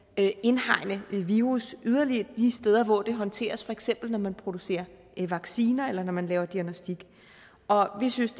indhegne virus yderligere de steder hvor det håndteres for eksempel når man producerer vacciner eller når man laver diagnostik og vi synes